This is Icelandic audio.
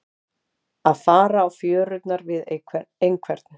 Að fara á fjörurnar við einhvern